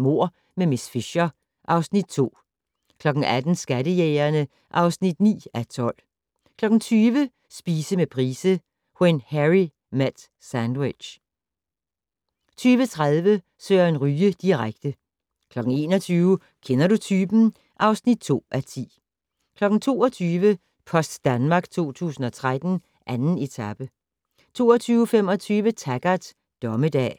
Mord med miss Fisher (Afs. 2) 18:00: Skattejægerne (9:12) 20:00: Spise med Price - When Harry met sandwich 20:30: Søren Ryge direkte 21:00: Kender du typen? (2:10) 22:00: Post Danmark 2013: 2. etape 22:25: Taggart: Dommedag